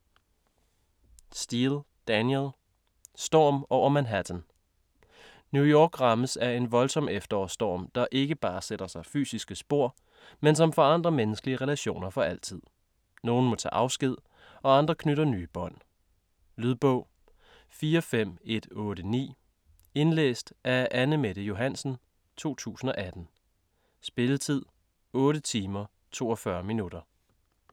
Steel, Danielle: Storm over Manhattan New York rammes af en voldsom efterårsstorm, der ikke bare sætter sig fysiske spor, men som forandrer menneskelige relationer for altid. Nogen må tage afsked og andre knytter nye bånd. Lydbog 45189 Indlæst af Anne-Mette Johansen, 2018. Spilletid: 8 timer, 42 minutter.